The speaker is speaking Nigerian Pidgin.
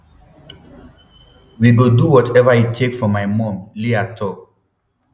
we go do whatever e take for my mum leah tok